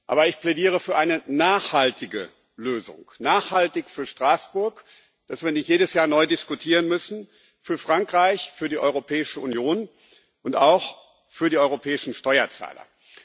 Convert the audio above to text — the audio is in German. Aber ich plädiere für eine nachhaltige Lösung, nachhaltig für Straßburg dass wir nicht jedes Jahr neu diskutieren müssen für Frankreich, für die Europäische Union und auch für die europäischen Steuerzahler.